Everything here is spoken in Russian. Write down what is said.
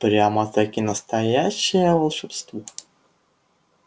прямо-таки настоящее волшебство